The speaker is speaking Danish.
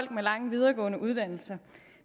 med lange videregående uddannelser